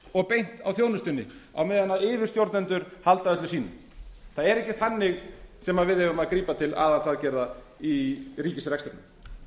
og beint á þjónustunni á meðan yfirstjórnendur halda öllu sínu það er ekki þannig sem við eigum að grípa til aðhaldsaðgerða í ríkisrekstrinum